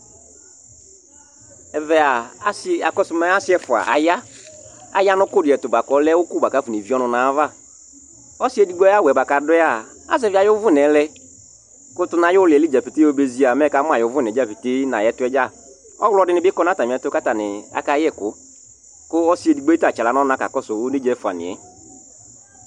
Ɛvɛ a, asɩ akɔsʋ mɛ asɩ ɛfʋa aya Aya nʋ ʋkʋ dɩ ɛtʋ bʋa kʋ ɔlɛ ʋkʋ bʋa kʋ akɔnevie ɔnʋ nʋ ayava Ɔsɩ edigbo ayʋ awʋ yɛ bʋa kʋ adʋ yɛ a, azɛvɩ ayʋ ʋvʋna yɛ lɛ kʋ tʋ nʋ ayʋ ʋlɩ yɛ dza petee yɔba ezi a, mɛ ɛkamʋ ayʋ ʋvʋna yɛ dza petee nʋ ayʋ ɛtʋ yɛ dza Ɔɣlɔ dɩnɩ bɩ kɔ nʋ atamɩɛtʋ kʋ atanɩ akayɛ ɛkʋ kʋ ɔsɩ edigbo yɛ ta atsɩ aɣla nʋ ɔna kʋ ɔkakɔsʋ onedzǝ ɛfʋanɩ yɛ